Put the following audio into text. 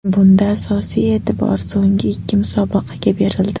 Bunda asosiy e’tibor so‘nggi ikki musobaqaga berildi.